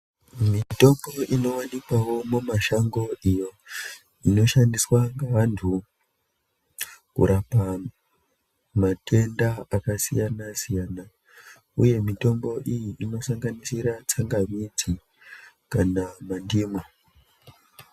Mitombo inovanikwavo mumashango iyo inoshandiswa ngevantu kurapa matenda akasiyana-siyana, uye mitombo iyi inosanganisira tsangamidzi kana mandimwa.